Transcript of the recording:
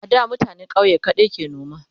a da mutanen ƙauye kaɗai ke noma